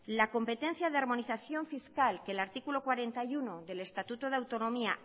la competencia de armonización fiscal que el artículo cuarenta y uno del estatuto de autonomía